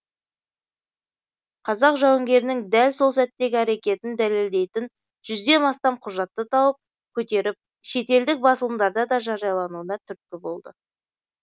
қазақ жауынгерінің дәл сол сәттегі әрекетін дәлелдейтін жүзден астам құжатты тауып көтеріп шетелдік басылымдарда да жариялануына түрткі болды